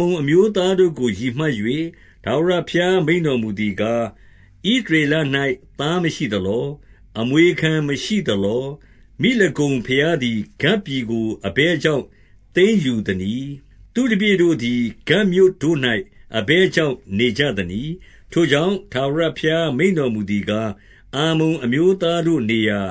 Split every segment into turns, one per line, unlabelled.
မုန်အမျိုးသားတို့ကို ရည်မှတ်၍ ထာဝရ ဘုရားမိန့်တော်မူသည်ကား၊ ဣသရေလ၌ သားမရှိ သလော။ အမွေခံမရှိသလော။ မိလကုံဘုရားသည် ဂဒ်ပြည်ကို အဘယ်ကြောင့် သိမ်းယူသနည်း။ သူ့တပည့် တို့သည် ဂဒ်မြို့တို့၌အဘယ်ကြောင့် နေကြသနည်း။ 2 ထိုကြောင့်၊ ထာဝရဘုရားမိန့်တော်မူသည်ကား၊ အမ္မုန်အမျိုးသားတို့ နေရာ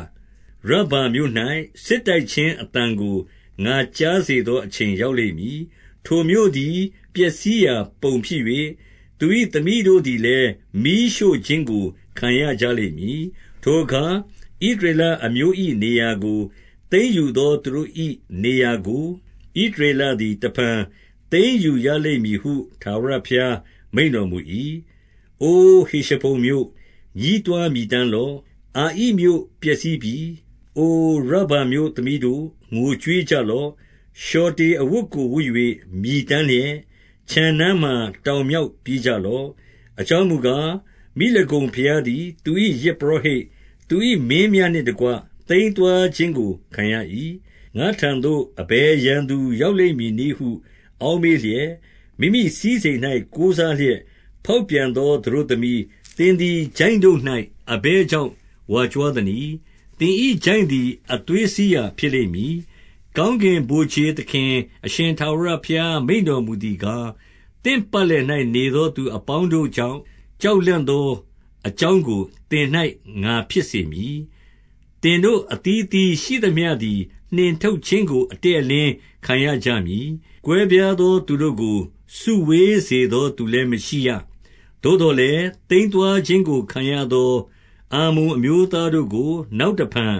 ရဗ္ဗာမြို့၌ စစ်တိုက်ခြင်းအသံ ကို ငါကြားစေသောအချိန် ရောက်လိမ့်မည်။ ထိုမြို့သည် ပျက်စီးရာပုံဖြစ်၍၊ သူ၏သမီးတို့သည်လည်း မီးရှို့ ခြင်းကို ခံရကြလိမ့်မည်။ ထိုအခါဣသရေလအမျိုး၏နေရာကို၊ သိမ်းယူသော သူတို့၏ နေရာကို၊ ဣသရေလသည် တဖန်သိမ်းယူရလိမ့်မည်ဟု ထာဝရဘုရားမိန့်တော်မူ၏။ 3 အို ဟေရှဘုန်မြို့၊ ညည်းတွားမြည်တမ်းလော့။ အာဣမြို့ပျက်စီး ပြီ။ အိုရဗ္ဗာမြို့သမီးတို့၊ ငိုကြွေးကြလော့။ လျှော်တေအဝတ်ကိုဝတ်၍ မြည်တမ်းလျက်၊ ခြံနားမှာ တောင်မြောက်ပြေးကြလော့။ အကြောင်းမူကား၊ မိလကုံ ဘုရားသည်သူ၏ယဇ်ပုရောဟိတ်၊ သူ၏မင်းများနှင့်တကွ သိမ်းသွားခြင်းကိုခံရ၏။ 4 ငါ့ထံသို့ အဘယ်ရန်သူရောက်လိမ့်မည်နည်းဟု အောက်မေ့လျက်၊ မိမိမိစည်းစိမ်၌ ကိုးစားလျက် ဖောက် ပြန်သောသတို့သမီး၊ သင်သည် ချိုင့်တို့၌ အဘယ်ကြောင့် ဝါကြွားသနည်း။ သင်၏ချိုင့်သည် အသွေးစီးရာ ဖြစ်လိမ့် မည်။ 5 ကောင်းကင်ဗိုလ်ခြေသခင်အရှင် ထာဝရဘုရား မိန့်တော်မူသည်ကား၊ သင့်ပတ်လည်၌နေသော သူအပေါင်းတို့ကြောင့် ကြောက်လန့်သော အကြောင်းကို သင်၌ငါဖြစ်စေမည်။ သင်တို့အသီးအသီးရှိသမျှသည် နှင်ထုတ်ခြင်းကို အတည့်အလင်းခံရကြမည်။ ကွဲပြား သောသူတို့ကို စုဝေးစေသော သူလည်းမရှိရ။ 6 သို့သော်လည်း၊ သိမ်းသွားခြင်းကိုခံရသော အမ္မုန်အမျိုးသားတို့ကို နောက်တဖန်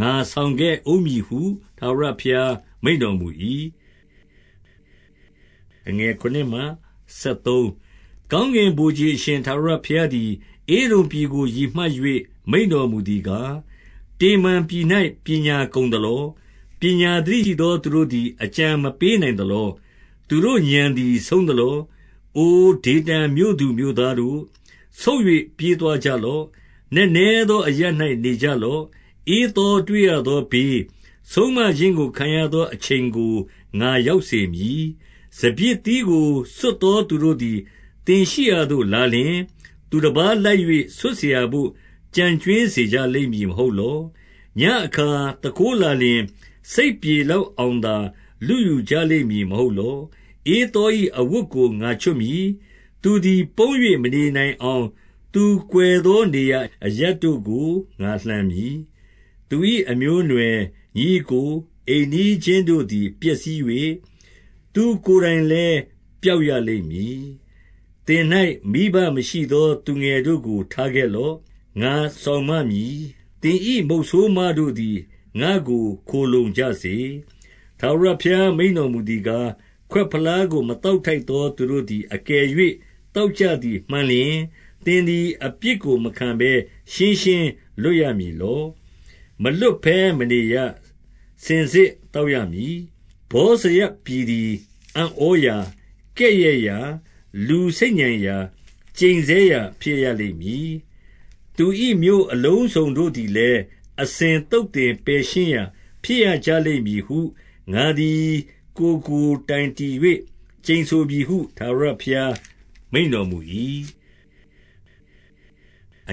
ငါဆောင်ခဲ့ဦးမည်ဟု ထာဝရဘုရားမိန့်တော်မူ၏။ 7 ကောင်းကင်ဗိုလ်ခြေအရှင် ထာဝရဘုရားသည် ဧဒုံပြည်ကို ရည်မှတ်၍ မိန့်တော်မူသည်ကား၊ တေမန် ပြည်၌ပညာကုန်သလော။ ပညာသတိရှိသောသူတို့သည် အကြံမပေးနိုင်သလော။ သူတို့ဥာဏ်သည် ဆုံးသလော။ 8 အိုဒေဒန်မြို့သူမြို့သားတို့၊ ဆုတ်၍ ပြေးသွားကြ လော့။ နက်နဲသောအရပ်၌ နေကြလော့။ ဧသောတွေ့ရ သောဘေး၊ ဆုံးမခြင်းကိုခံရသော အချိန်ကို ငါရောက် စေမည်။ 9 စပျစ်သီးကိုဆွတ်သော သူတို့သည်သင်ရှိရာသို့ လာလျှင်၊ သူတပါးလိုက်၍ ဆွတ်စရာဘို့ ကျန်ကြွင်း စေကြလိမ့်မည် မဟုတ်လော။ ညဉ့်အခါသူခိုးလာလျှင်၊ စိတ်ပြေလောက်အောင်သာ လုယူကြလိမ့်မည် မဟုတ် လော။ 10 ဧသော၏အဝတ်ကို ငါချွတ်မည်။ သူသည် ပုန်း၍မနေနိုင်အောင် သူကွယ်သောနေရာအရပ်တို့ကို ငါလှန်မည်။ သူ၏အမျိုးအနွယ်၊ ညီအစ်ကို၊ အိမ်နီး ချင်းတို့သည် ပျက်စီး၍၊ သူ့ကိုယ်တိုင်လည်း ပျောက်ရ လိမ့်မည်။ 11 သင်၌မိဘမရှိသောသူငယ်တို့ကို ထားခဲ့လော့။ ငါစောင့်မမည်။သင်၏ မုတ်ဆိုးမတို့သည် ငါ့ကိုခိုလှုံကြစေ။ 12 ထာဝရဘုရားမိန့်တော်မူသည်ကား၊ ခွက်ဖလား ကို မသောက်ထိုက်သော သူတို့သည် အကယ်၍ သောက် ကြသည် မှန်လျှင်၊ သည်အပြစ်ကို မခံဘဲ ရှင်းရှင်း လွတ်ရမည်လော။ မလွတ်ဘဲမနေရ။ စင်စစ်သောက် ရမည်။ 13 ဗောဇရပြည်သည်အံ့ဩရာ၊ ကဲ့ရဲ့ရာ၊ လူစိတ် ညံရာ၊ ကျိန်ဆဲရာဖြစ်လိမ့်မည်။ သူတို့၏ မြို့အလုံးစုံ သည်လည်း၊ အစဉ်သုတ်သင်ပယ်ရှင်း ရာဖြစ်ရကြလိမ့် မည်ဟု၊ ငါသည်ကိုယ်တော်ကို တိုင်တည်ကျိန်ဆိုပြီးဟု၊ ထာဝရဘုရားမိန့်တော်မူ၏။ 14 ထာ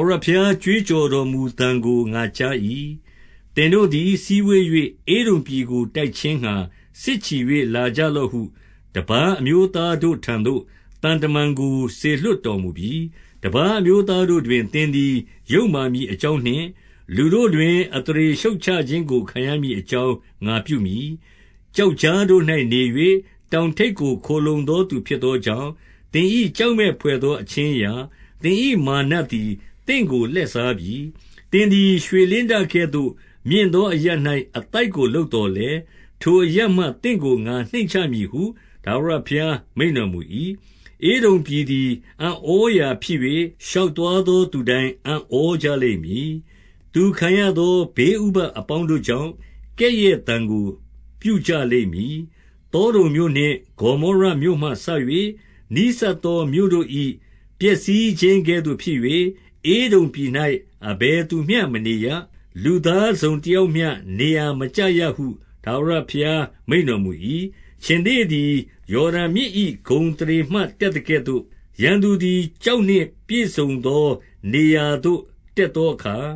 ဝရဘုရား ကြွေးကြော်တော်မူသံကို ငါကြား ၏။ သင်တို့သည် စည်းဝေး၍၊ ဧဒုံပြည်ကို တိုက်ခြင်းငှါ စစ်ချီ၍လာကြလော့ဟု တပါးအမျိုး သားတို့ထံသို့ သံမန်ကို စေလွှတ်တော်မူပြီ။ 15 တပါးအမျိုးသားတို့တွင် သင်သည် ယုတ်မာ မည်အကြောင်းနှင့်၊ လူတို့တွင် အသရေရှုတ်ချခြင်းကို ခံရမည်အကြောင်း ငါပြုမည်။ 16 ကျောက်ကြားတို့၌ နေ၍တောင်ထိပ်ကို ခိုလှုံ သော သူဖြစ်သောကြောင့်၊ သင်၏ကျောက်မက်ဖွယ်သော အခြင်းအရာ၊ သင်၏မာနသည် သင့်ကိုလှည့်စားပြီ။ သင်သည် ရွှေလင်းတကဲ့သို့ မြင့်သောအရပ်၌ အသိုက်ကို လုပ်သော်လည်း၊ ထိုအရပ်မှ သင့်ကို ငါနှိမ့်ချမည်ဟု ထာဝရဘု ရားမိန့်တော်မူ၏။ 17 ဧဒုံပြည်သည် အံ့ဩရာဖြစ်၍၊ ရှောက်သွား သော သူတိုင်းအံ့ဩကြလိမ့်မည်။ သူခံရသော ဘေးဥပဒ် အပေါင်းတို့ကြောင့် ကဲ့ရဲ့သံကို ပြုကြလိမ့်မည်။ 18 သောဒုံမြို့နှင့်ဂေါမောရမြို့မှစ၍ နီးစပ်သောမြို့ တို့၏ ပျက်စီးခြင်းကဲ့သို့ဖြစ်၍၊ဧဒုံပြည်၌ အဘယ်သူမျှ မနေရ။ လူသားတစုံတယောက်မျှ နေရာမကျရဟု ထာဝရဘုရားမိန့်တော်မူ၏။ 19 ခြင်္သေ့သည် ယော်ဒန်မြစ်၏ ဂုဏ်အသရေမှ တတ်သကဲ့သို့၊ ရန်သူသည် ကျောက်နှင့်ပြည့်စုံသော နေရာသို့တက်သောအခါ၊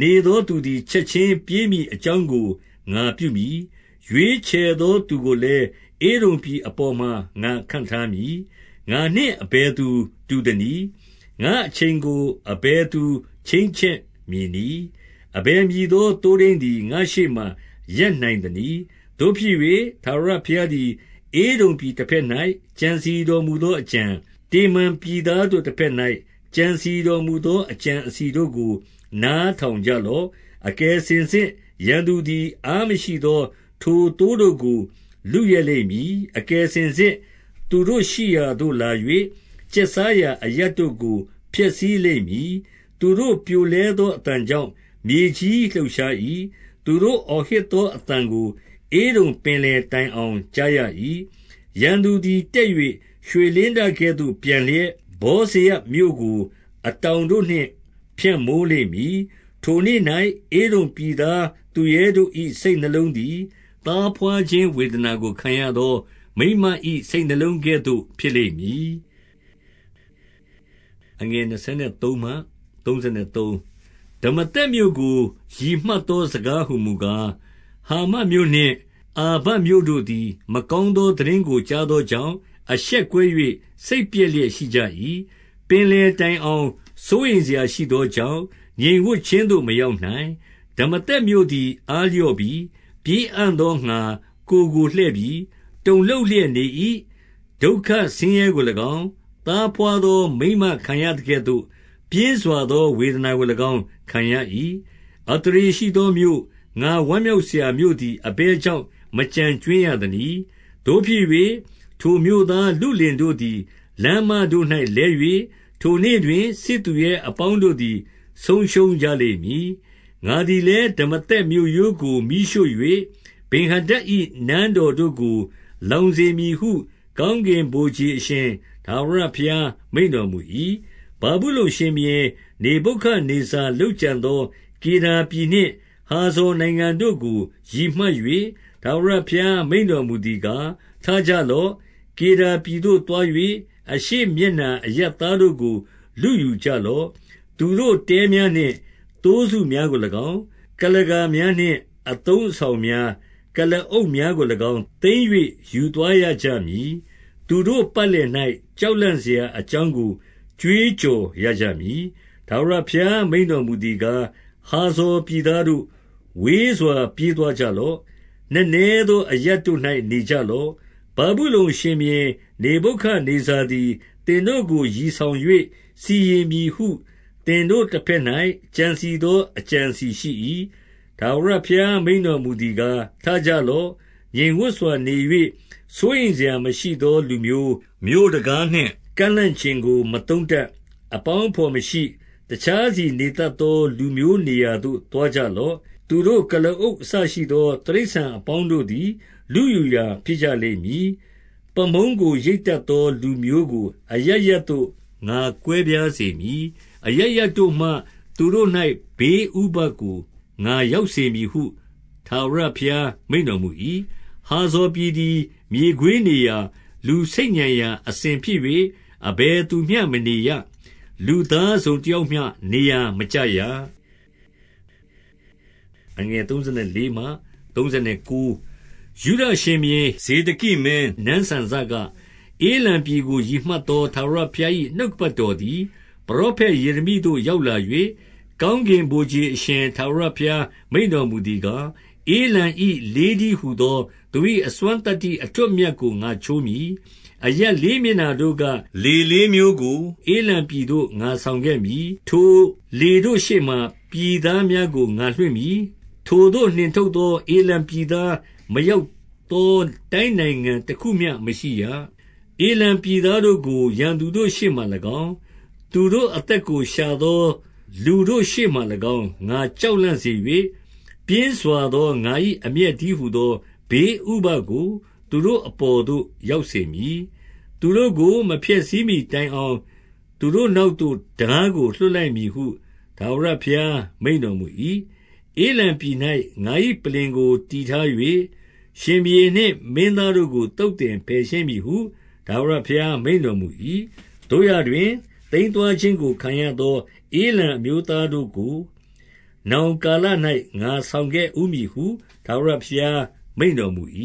နေသောသူသည် ချက်ခြင်း ပြေးမည်အကြောင်းကို ငါပြုမည်။ ရွေးချယ်သော သူကိုလည်း၊ ဧဒုံပြည်အပေါ်မှာ ငါခန့်ထားမည်။ ငါနှင့် အဘယ်သူတူသနည်း။ ငါ့အချိန်ကို အဘယ်သူ ချိန်းချက်မည်နည်း။ အဘယ်မည်သော သိုးထိန်းသည် ငါ့ရှေ့မှာ ရပ်နိုင်သနည်း။ 20 သို့ဖြစ်၍၊ ထာဝရဘုရားသည် ဧဒုံပြည်တဘက် ၌ ကြံစည်တော်မူသောအကြံ၊ တေမန်ပြည်သားတို့ တဘက်၌ ကြံစည်တော်မူသော အကြံအစည်တို့ကို နားထောင်ကြလော့။ အကယ်စင်စစ်ရန်သူသည်၊ အားမရှိ သောထိုသိုးတို့ကို လုယက်လိမ့်မည်။ အကယ်စင်စစ် သူတို့ရှိရာသို့လာ၍၊ ကျက်စားရာအရပ်တို့ကို ဖျက်ဆီး လိမ့်မည်။ 21 သူတို့ပြိုလဲသော အသံကြောင့် မြေကြီးလှုပ်ရှား ၏။ သူတို့အော်ဟစ်သော အသံကို ဧဒုံပင်လယ်တိုင် အောင် ကြားရ၏။ 22 ရန်သူသည် တက်၍ ရွေလင်းတကဲ့သို့ပျံလျက်၊ ဗောဇရမြို့ကို အတောင်တို့နှင့် ဖြန့်မိုးလိမ့်မည်။ ထိုနေ့၌ ဧဒုံပြည်သားသူရဲတို့၏ စိတ်နှလုံးသည်၊ သားဘွားခြင်း ဝေဒနာကိုခံရသော မိန်းမ၏စိတ်နှလုံးကဲ့သို့ဖြစ်လိမ့်မည်။ 23 ဒမာသက်မြို့ကို ရည်မှတ်သော စကားဟူမူ ကား၊ ဟာမတ်မြို့နှင့် အာပဒ်မြို့တို့သည် မကောင်းသော သိတင်းကိုကြားသောကြောင့်၊ အရှက်ကွဲ ၍စိတ်ပျက် လျက်ရှိကြ၏။ ပင်လယ်တိုင်အောင် စိုးရိမ်စရာရှိသော ကြောင့်၊ ငြိမ်ဝပ်ခြင်းသို့မရောက်နိုင်။ 24 ဒမာသက်မြို့သည် အားလျော့ပြီ။ ပြေးအံ့သော ငှါ ကိုယ်ကိုလှည့်ပြီ။ တုန်လှုပ်လျက်နေ၏။ ဒုက္ခဆင်းရဲ ကို၎င်း၊ သားဘွားသောမိန်းမခံရသကဲ့သို့၊ ပြင်းစွာသော ဝေဒနာကို၎င်း ခံရ၏။ 25 အသရေရှိသောမြို့၊ ငါဝမ်းမြောက်စရာမြို့သည် အဘယ်ကြောင့် မကျန်ကြွင်းရသနည်း။ 26 သို့ဖြစ်၍၊ ထိုမြို့သားလုလင်တို့သည် လမ်းမတို့၌ လဲ၍၊ ထိုနေ့တွင် စစ်သူရဲအပေါင်းတို့သည် ဆုံးရှုံးကြ လိမ့်မည်။ 27 ငါသည်လည်း၊ ဒမာသက်မြို့ရိုးကို မီးရှို့၍၊ ဗင်္ဟာဒဒ်၏ နန်းတော်တို့ကို လောင်စေမည်ဟု၊ ကောင်းကင်ဗိုလ်ခြေအရှင် ထာဝရဘုရားမိန့်တော်မူ၏။ 28 ဗာဗုလုန်ရှင်ဘုရင် နေဗုခဒ်နေဇာ လုပ်ကြံသော ကေဒါပြည်နှင့် ဟာဇော်နိုင်ငံတို့ကို ရည်မှတ်၍ ထာဝရ ဘုရားမိန့်တော်မူသည်ကား၊ ထကြလော့။ ကေဒါပြည်သို့ သွား၍၊ အရှေ့မျက်နှာအရပ်သားတို့ကို လုယူကြလော့။ 29 သူတို့တဲများနှင့်သိုးစုများကို၎င်း၊ ကုလားကာ များ၊ အသုံးအဆောင်များ၊ ကုလားအုပ်များကို၎င်း သိမ်း၍ ယူသွားရကြမည်။ သူတို့ပတ်လည်၌ ကြောက်လန့်စရာ အကြောင်းကို ကြွေးကြော်ရကြမည်။ 30 ထာဝရဘုရားမိန့်တော်မူသည်ကား၊ ဟာဇော် ပြည်သားတို့၊ ဝေးစွာ ပြေးသွားကြလော့။ နက်နဲသော အရပ်တို့၌ နေကြလော့။ ဗာဗုလုန်ရှင်ဘုရင် နေဗုခဒ် နေဇာသည် သင်တို့ကိုရည်ဆောင်၍ စီရင်မည်ဟု သင်တို့ တဘက်၌ ကြံစည်သောအကြံအစည်ရှိ၏။ 31 ထာဝရဘုရားမိန့်တော်မူသည်ကား၊ ထကြ လော့။ ငြိမ်ဝပ်စွာနေ၍ စိုးရိမ်စရာမရှိသောလူမျိုး၊ မြို့တံခါးနှင့်ကန့်လန့်ကျင်ကို မသုံးတတ်၊ အပေါင်းအဘော်မရှိ၊ တခြားစီနေတတ်သောလူမျိုးနေရာသို့ သွားကြလော့။ 32 သူတို့ကုလားအုပ်အစရှိသော တိရစ္ဆာန်အပေါင်း တို့သည် လုယူရာဖြစ်ကြလိမ့်မည်။ ပါးမုန်းကိုရိတ်တတ် သော လူမျိုးကိုအရပ်ရပ်သို့ ငါကွဲပြားစေမည်။ အရပ်ရပ် တို့မှ သူတို့၌ ဘေးဥပဒ်ကိုငါရောက်စေမည်ဟု ထာဝရ ဘုရားမိန့်တော်မူ၏။ 33 ဟာဖော်ပြည်သည် မြေခွေးနေရာ၊ လူဆိတ်ညံ ရာ အစဉ်ဖြစ်၍၊ အဘယ်သူမျှမနေရ။ လူသားတစုံ တယောက်မျှမနေရ။ လူသားတစုံ တယောက်မျှနေရာ မကျရ။ 34 ယုဒရှင်ဘုရင် ဇေဒကိမင်းနန်းစံစက၊ ဧလံပြည် ကို ရည်မှတ်သော ထာဝရဘုရား၏ နှုတ်ကပတ်တော် သည် ပရောဖက်ယေရမိသို့ ရောက်လာ၍၊ 35 ကောင်းကင်ဗိုလ်ခြေအရှင် ထာဝရဘုရား မိန့်တော်မူသည်ကား၊ ဧလံ၏လေးတည်းဟူသော သူ၏ အစွမ်းသတ္တိအထွဋ်အမြတ်ကို ငါချိုးမည်။ 36 အရပ်လေးမျက်နှာတို့က လေလေးမျိုးကို ဧလံပြည်သို့ငါဆောင်ခဲ့မည်။ ထိုလေတို့ရှေ့မှာ ပြည်သား များကို ငါလွှင့်မည်။ ထိုသို့နှင်ထုတ်သော ဧလံပြည်သား မရောက်သော တိုင်းနိုင်ငံတခုမျှမရှိရ။ 37 ဧလံပြည်သားတို့ကို ရန်သူတို့ရှေ့မှာ၎င်း၊ သူတို့ အသက်ကိုရှာသော လူတို့ရှေ့မှာ၎င်း၊ ငါကြောက်လန့် စေ၍၊ ပြင်းစွာသော ငါ၏အမျက်တည်းဟူသော ဘေးဥပဒ်ကိုသူတို့အပေါ်သို့ ရောက်စေမည်။ သူတို့ကို မဖျက်ဆီးမှီတိုင်အောင် သူတို့နောက်သို့ ထားကို လွှတ်လိုက်ရမည်ဟု ထာဝရ ဘုရားမိန့်တော်မူ၏။ 38 ဧလံပြည်၌ ငါ၏ပလ္လင်ကို တည်ထား၍၊ ရှင်ဘုရင်နှင့် မင်းသားတို့ကို သုတ်သင်ပယ်ရှင်းမည်ဟု ထာဝရဘုရားမိန့်တော်မူ၏။ 39 သို့ရာတွင်၊သိမ်းသွားခြင်းကိုခံရသော ဧလံ အမျိုးသားတို့ကို နောင်လာကာလ၌ ငါဆောင်ခဲ့ဦးမည်ဟု ထာဝရဘုရားမိန့်တော်မူ၏။